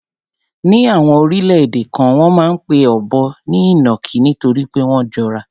Ní àwọn orílẹ̀-èdè kan, wọ́n máa ń pe ọ̀bọ ní ìnàkí nítorí pé wọ́n jọra.